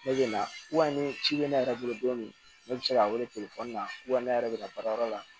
Ne bɛ na ni ci bɛ ne yɛrɛ bolo don min ne bɛ se ka wele telefɔni na ne yɛrɛ bɛ ka baarayɔrɔ la